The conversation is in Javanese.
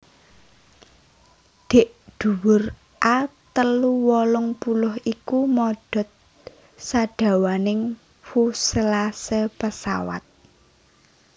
Dhèk dhuwur A telu wolung puluh iku modhot sadawaning fuselase pesawat